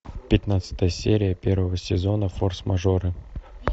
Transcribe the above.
пятнадцатая серия первого сезона форс мажоры